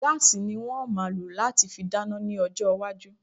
Gas ni wọ́n máa lò láti fi dáná ní ọjọ́ iwájú